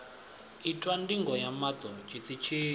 itwa ndigo ya maṱo tshiṱitshini